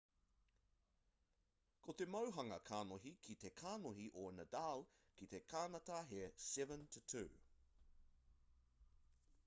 ko te mauhanga kanohi ki te kanohi o nadal ki te kānata he 7-2